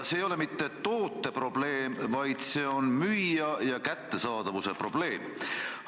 See ei ole mitte toote probleem, vaid see on müüja ja kättesaadavuse probleem.